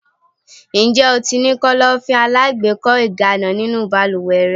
Ǹjẹ́ o ti ní Kọ́lọ́fín alágbèékọ́ ìgànná nínú balúwẹ́ rẹ?